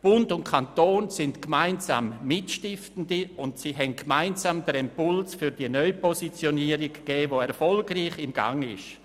Bund und Kanton sind gemeinsam Mitstiftende, und sie haben gemeinsam den Impuls für die Neupositionierung gegeben, die erfolgreich im Gang ist.